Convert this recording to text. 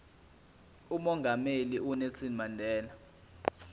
umongameli unelson mandela